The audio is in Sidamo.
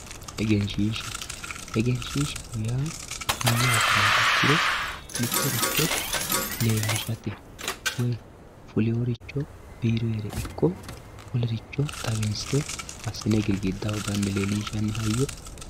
Egenshiishsha, egenshiishsha yaa mayyate yiniha ikkiro mittoricho leelishate woyi fulinoricho biironire ikko wolericho xawinse assine girgidaho gananni hayyo.